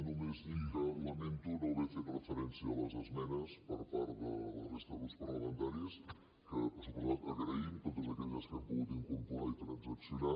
només dir que lamento no haver fet referència a les esmenes per part de la resta de grups parlamentaris que per descomptat agraïm totes aquelles que hem pogut incorporar i transaccionar